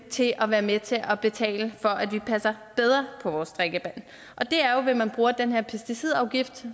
til at være med til at betale for at vi passer bedre på vores drikkevand og det er jo ved at man bruger den her pesticidafgift